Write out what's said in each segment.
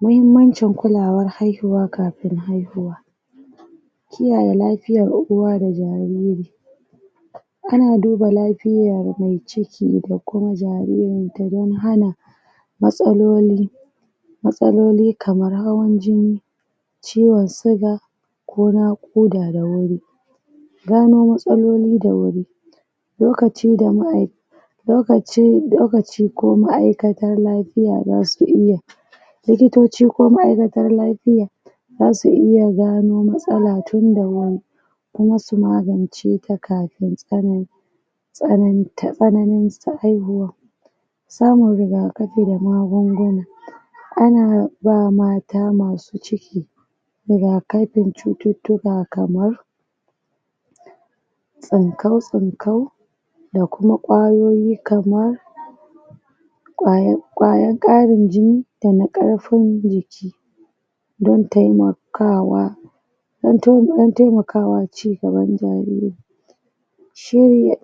muhimmancin kulawar haihuwa kafin haihuwa kiyaye lafiyar uwa da jariri ana duba lafiyar mai ciki da kuma jaririnta don hana matsaloli matsaloli kamar hawan jini ciwon siga ko naƙuda da wuri. gano matsaloli da wuri lokaci da ma'ai lokaci lokaci ko ma'aikatar lafiya zasu iya likitoci ko ma'aikatar lafiya zasu iya gano matsala tunda wuri kuma su maganceta kafin tsanani tsananta tsananin haihuwar samun rigakafi da magunguna ana ba mata masu ciki rigakafin cututtuka kamar tsinkau-tsinkau da kuma ƙwayoyi kamar ƙwaya ƙwayar ƙarin jini dana ƙarfin jiki don taimakawa don taimakawa ci gaban jariri shirya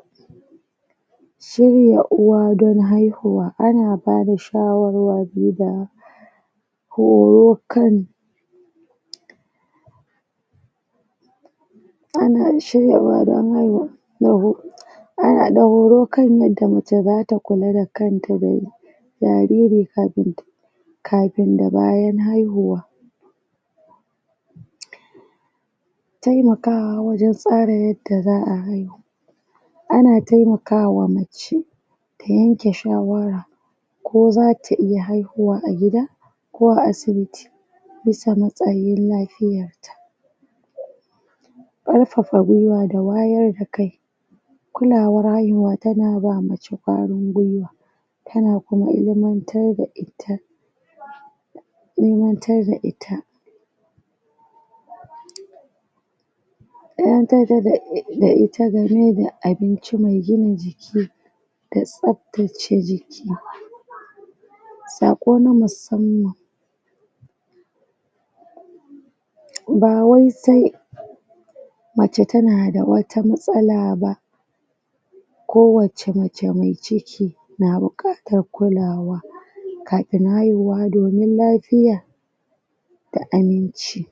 shirya uwa don haihuwa ana bada shawarwari da horo kan ana shirya uwa da wannan ana da horo yadda mace zata kula da kanta domin jariri kafin ta kafin da bayan haihuwa. taimakawa wajen tsara yadda za'a haihu ana taimakawa mace ta yanke shawara ko zata iya haihuwa a gida ko a asibiti bisa matsayin lafiyar ƙarfafa gwiwa da wayar da kai kulawar haihuwa tana ba mace ƙwarin gwiwa tana kuma ilmantar da ita ilmantar da ita ilmantar da ita game da abinci mai gina jiki da tsaftace jiki saƙo na musamman bawai sai mace tana da wat matsala ba ko wace mace mai ciki na buƙatar kulawa kafin haihuwa domin lafiya da aminci.